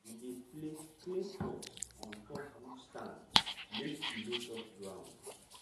we dey place clay pot on top wood stand make e no touch ground.